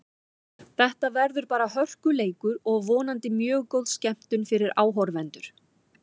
Þetta verður bara hörkuleikur og vonandi mjög góð skemmtun fyrir áhorfendur.